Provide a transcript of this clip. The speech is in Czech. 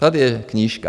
Tady je knížka.